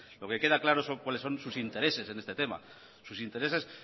lo que queda claro es cuáles son sus intereses en este tema sus intereses